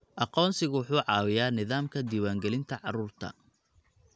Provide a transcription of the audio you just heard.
Aqoonsigu wuxuu caawiyaa nidaamka diiwaangelinta carruurta.